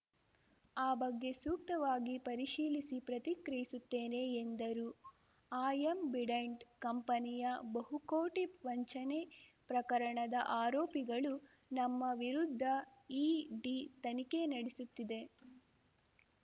ಆ ಬಗ್ಗೆ ಸೂಕ್ತವಾಗಿ ಪರಿಶೀಲಿಸಿ ಪ್ರತಿಕ್ರಿಯಿಸುತ್ತೇನೆ ಎಂದರು ಆ್ಯಂಬ್ ಡೆಂಟ್‌ ಕಂಪನಿಯ ಬಹುಕೋಟಿ ವಂಚನೆ ಪ್ರಕರಣದ ಆರೋಪಿಗಳು ನಮ್ಮ ವಿರುದ್ಧ ಇಡಿ ತನಿಖೆ ನಡೆಸುತ್ತಿದೆ